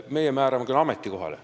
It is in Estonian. Meie määrame inimesi ametikohale.